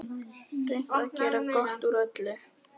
Reynt að gera gott úr öllu.